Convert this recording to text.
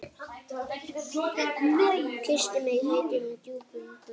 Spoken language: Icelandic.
Kyssti mig heitum, djúpum kossi.